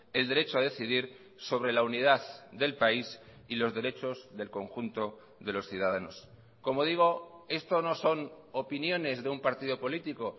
el derecho a decidir sobre la unidad del país y los derechos del conjunto de los ciudadanos como digo esto no son opiniones de un partido político